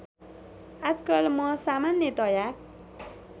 आजकल म सामान्यतया